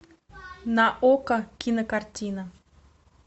на окко кинокартина